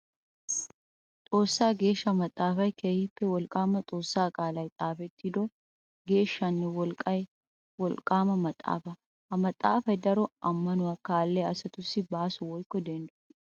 Xoossa geeshsha maxafay keehippe wolqqama xoossa qaalay xaafettiddo geeshshanne wolqqay maxafa. Ha maxafay daro amanuwa kaalliya asatussi baaso woykko denddo.